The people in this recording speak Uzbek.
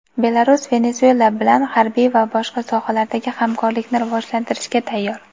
Belarus Venesuela bilan harbiy va boshqa sohalardagi hamkorlikni rivojlantirishga tayyor.